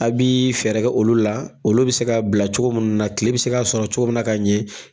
A b'i fɛɛrɛ kɛ olu la, olu bɛ se ka bila cogo munnu na, kile bɛ se k'a sɔrɔ cogo munnu na ka ɲɛ.